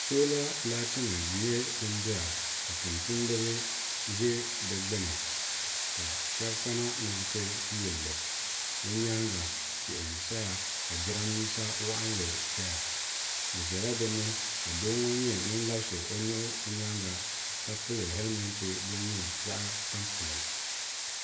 soola laati nim n nyɛ din dɔya ka tumtumdiba ʒɛ di gbuni ka shab kana ni bi ti yulli bi nyaanga tihi n saya jiranbiisa waɣanli ʒɛya bi ʒɛla dinni ka doo ŋɔ nyɛ ŋun labisi o nuhi o nyaanga ka pili hɛlmɛnt din nyɛ zaɣ tampilim